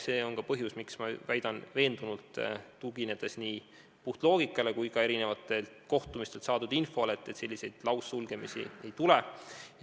See on ka põhjus, miks ma väidan veendunult, tuginedes puhtalt nii loogikale kui ka erinevatel kohtumistel saadud infole, et sellist laussulgemist ei tule.